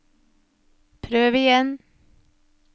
prøv igjen